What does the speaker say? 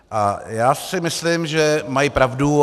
A já si myslím, že mají pravdu.